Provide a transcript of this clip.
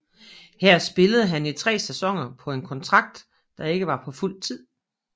Her spillede han i tre sæsoner på en kontrakt der ikke var på fuld tid